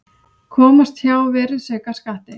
Komast hjá virðisaukaskatti